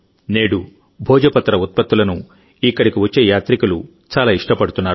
నేడుభోజపత్ర ఉత్పత్తులను ఇక్కడికి వచ్చే యాత్రికులు చాలా ఇష్టపడుతున్నారు